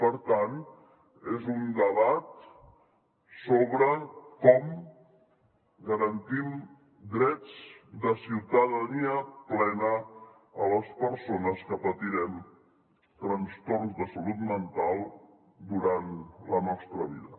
per tant és un debat sobre com garantim drets de ciutadania plena a les persones que patirem trastorns de salut mental durant la nostra vida